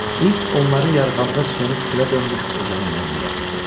İs onları yarğanda sönüb külə dönmüş ocağın yanına gətirdi.